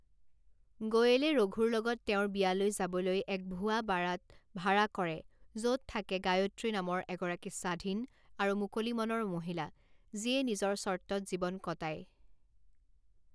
গোয়েলে ৰঘুৰ লগত তেওঁৰ বিয়ালৈ যাবলৈ এক ভুৱা বাৰাত ভাৰা কৰে য'ত থাকে গায়ত্ৰী নামৰ এগৰাকী স্বাধীন আৰু মুকলি মনৰ মহিলা যিয়ে নিজৰ চৰ্তত জীৱন কটায়।